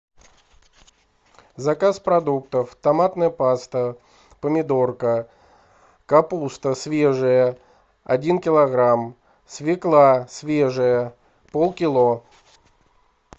заказ продуктов томатная паста помидорка капуста свежая один килограмм свекла свежая полкило